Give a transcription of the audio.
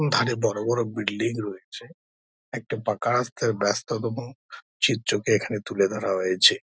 ধারে বড়ো বড়ো বিল্ডিং রয়েছে একটা পাকা রাস্তার ব্যাস্ততম চিত্রকে এখানে তুলে ধরা হয়েছে।